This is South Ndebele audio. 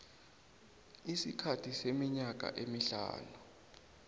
isikhathi seminyaka emihlanu